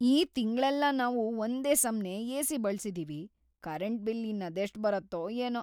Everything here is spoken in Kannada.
ಈ ತಿಂಗ್ಳೆಲ್ಲ ನಾವು ಒಂದೇ ಸಮ್ನೇ ಏ.ಸಿ. ಬಳ್ಸಿದೀವಿ, ಕರೆಂಟ್ ಬಿಲ್‌ ಇನ್ನದೆಷ್ಟ್‌ ಬರತ್ತೋ ಏನೋ.